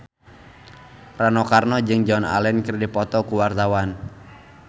Rano Karno jeung Joan Allen keur dipoto ku wartawan